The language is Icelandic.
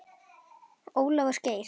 Ólafur Geir.